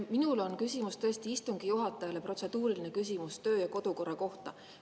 Minul on küsimus tõesti istungi juhatajale, protseduuriline küsimus töö‑ ja kodukorra kohta.